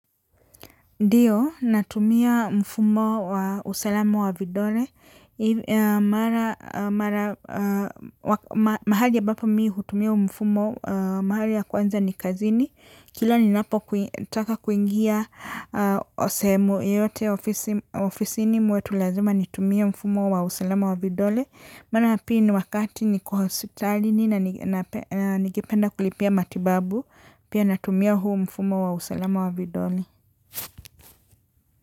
Ndiyo, natumia mfumo wa usalama wa vidole. Mahali ambapa mimi hutumia huu mfumo, mahali ya kwanza ni kazini. Kila ninapo taka kuingia sehemu yote ofisini mwetu lazima nitumie mfumo wa usalama wa vidole. Mara ya pili ni wakati niko hospitalini na nigependa kulipia matibabu. Pia natumia huu mfumo wa usalama wa vidole.